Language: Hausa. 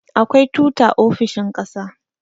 akwai tuta ofisoahin ƙasa